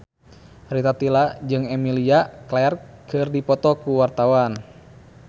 Rita Tila jeung Emilia Clarke keur dipoto ku wartawan